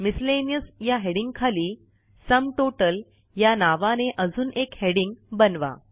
miscellaneous या हेडिंगखाली sum total या नावाने अजून एक हेडिंग बनवा